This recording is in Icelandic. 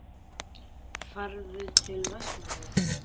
Ferðu til Vestmannaeyja?